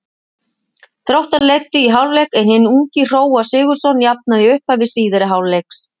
Þróttarar leiddu í hálfleik en hinn ungi Hróar Sigurðsson jafnaði í upphafi síðari hálfleiks.